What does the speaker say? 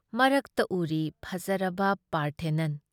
ꯃꯔꯛꯇ ꯎꯔꯤ ꯐꯖꯔꯕ ꯄꯥꯔꯊꯦꯅꯟ ꯫